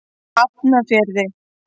Hafnarfirði